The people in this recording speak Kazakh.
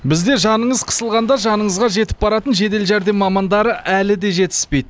бізде жаныңыз қысылғанда жаныңызға жетіп баратын жедел жәрдем мамандары әлі де жетіспейді